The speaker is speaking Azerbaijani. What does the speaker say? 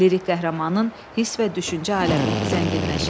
Lirik qəhrəmanın hiss və düşüncə aləmi zənginləşir.